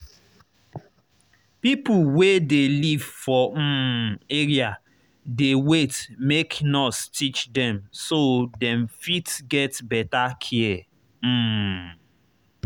people wey dey live for um area dey wait make nurse teach dem so dem fit get better care. um